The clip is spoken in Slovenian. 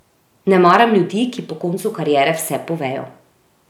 Ne maram ljudi, ki po koncu kariere vse povejo.